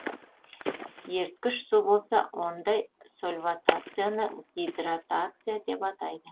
еріткіш су болса ондай сольватацияны гидратация деп атайды